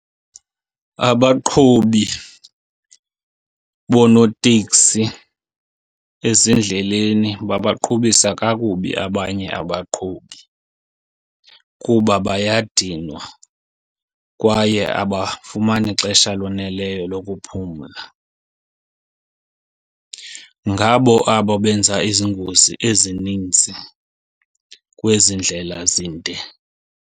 Abaqhubi bonooteksi ezindleleni babaqhubisa kakubi abanye abaqhubi kuba bayadinwa kwaye abafumani xesha loneleyo lokuphumla. Ngabo abo benza ezi ngozi ezininzi kwezi ndlela zinde.